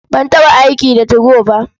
Ban taɓa aiki da 2go ba.